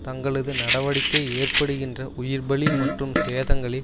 தங்களது நடவடிக்கை ஏற்படுகின்ற உயிர் பலி மற்றும் சேதங்களை